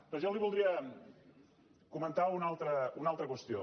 però jo li voldria comentar una altra qüestió